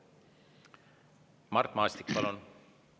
Mart Maastik, palun!